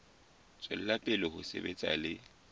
tswela pele ho sebetsa le